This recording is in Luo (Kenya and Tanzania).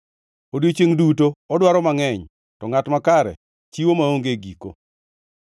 Odiechiengʼ duto odwaro mangʼeny, to ngʼat makare chiwo maonge giko.